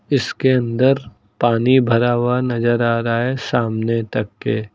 इसके अंदर पानी भरा हुआ नजर आ रहा है सामने तक के।